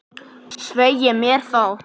Svei mér þá.